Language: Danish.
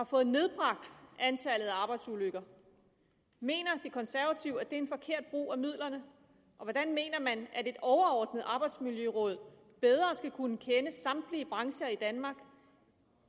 fået nedbragt antallet af arbejdsulykker mener de konservative at det er forkert brug af midlerne og hvordan mener man at et overordnet arbejdsmiljøråd bedre skulle kunne kende samtlige brancher i danmark